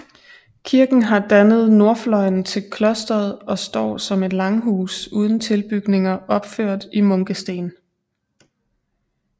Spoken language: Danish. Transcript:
Kirken har dannet nordfløjen til klosteret og står som et langhus uden tilbygninger opført i munkesten